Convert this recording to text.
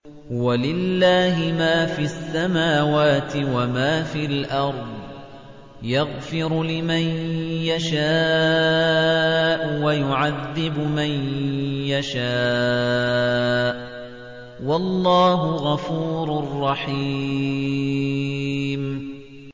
وَلِلَّهِ مَا فِي السَّمَاوَاتِ وَمَا فِي الْأَرْضِ ۚ يَغْفِرُ لِمَن يَشَاءُ وَيُعَذِّبُ مَن يَشَاءُ ۚ وَاللَّهُ غَفُورٌ رَّحِيمٌ